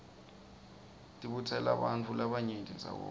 tibutselabantifu labarayenti ndzawanye